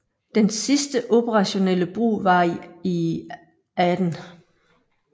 Dens sidste operationelle brug var i Aden